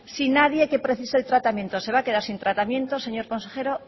si nadie que precise el tratamiento se va a quedar si tratamiento señor consejero